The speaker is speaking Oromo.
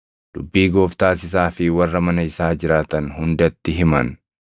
Dubbii Gooftaas isaa fi warra mana isaa jiraatan hundatti himan.